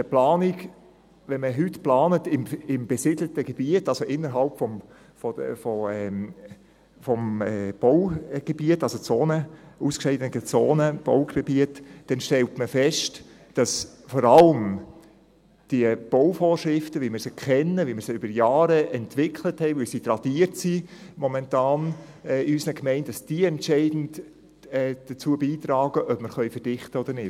Wenn man heute im besiedelten Gebiet plant, also innerhalb des Baugebiets, also in ausgeschiedenen Zonen, in Baugebieten, stellt man fest, dass vor allem die Bauvorschriften, wie wir sie kennen, wie wir sie über Jahre entwickelt haben, wie sie momentan in unseren Gemeinden tradiert werden, entscheidend dazu beitragen, ob wir verdichten können oder nicht.